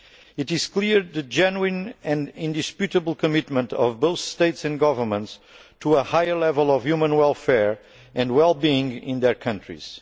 It is clear that there is a genuine and indisputable commitment by both states and governments to a higher level of human welfare and wellbeing in their countries.